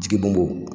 Jigi bɔnbɔn